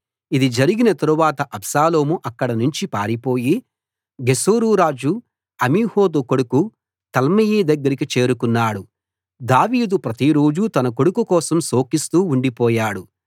ఇది జరిగిన తరువాత అబ్షాలోము అక్కడినుంచి పారిపోయి గెషూరు రాజు అమీహూదు కొడుకు తల్మయి దగ్గరికి చేరుకున్నాడు దావీదు ప్రతిరోజూ తన కొడుకు కోసం శోకిస్తూ ఉండిపోయాడు